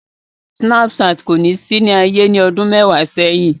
Sinapṣatin ko si ni aye ni ọdun mẹwa sẹhin.